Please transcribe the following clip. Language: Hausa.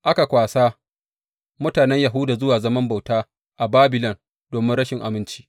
Aka kwasa mutanen Yahuda zuwa zaman bauta a Babilon domin rashin aminci.